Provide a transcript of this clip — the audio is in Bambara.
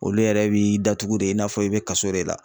Olu yɛrɛ bi datugu de i n'a fɔ i be kaso de la.